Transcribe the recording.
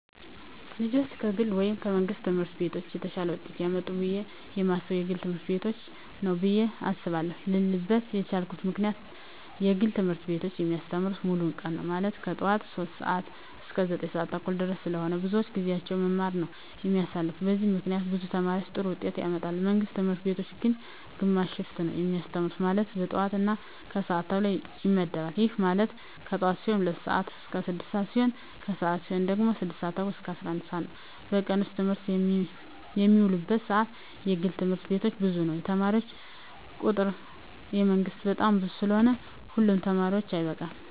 ልጆች ከግል ወይም ከመንግሥት ትምህርት ቤቶች የተሻለ ውጤት ያመጣሉ ብየ የማስበው የግል ትምህርት ቤቶችን ነው ብየ አስባለው ልልበት የቻልኩት ምክንያት የግል ትምህርት ቤቶች የሚያስተምሩት ሙሉ ቀን ነው ማለትም ከጠዋቱ 3:00 ሰዓት እስከ 9:30 ድረስ ስለሆነ ብዙውን ጊዜያቸውን በመማማር ነው የሚያሳልፉት በዚህም ምክንያት ብዙ ተማሪ ጥሩ ውጤት ያመጣል። የመንግስት ትምህርት ቤቶች ግን ግማሽ ሽፍት ነው የሚያስተምሩ ማለትም የጠዋት እና የከሰዓት ተብሎ ይመደባል ይህም ማለት የጠዋት ሲሆኑ 2:00 ስዓት እስከ 6:00 ሲሆን የከሰዓት ሲሆኑ ደግሞ 6:30 እስከ 11:00 ነው በቀን ውስጥ በትምህርት የሚውሉበት ሰዓት የግል ትምህርት ቤቶች ብዙ ነው የተማሪ ቁጥሩ የመንግስት በጣም ብዙ ስለሆነ ሁሉ ተማሪ አይበቃም።